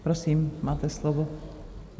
Prosím, máte slovo.